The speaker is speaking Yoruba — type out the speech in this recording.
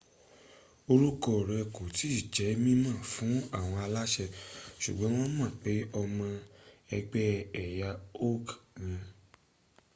orúkọ rl kò tí jẹ́ mímọ̀ fún àwọn aláṣẹ ṣùgbọ́n wọ́n mọ̀ pé ọmọ ẹgbẹ́ ẹ̀yà uighur